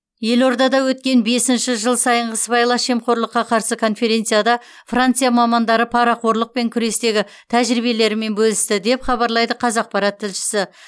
елордада өткен бесінші жыл сайынғы сыбайлас жемқорлыққа қарсы конференцияда франция мамандары парақорлықпен күрестегі тәжірибелерімен бөлісті деп хабарлайды қазақпарат тілшісі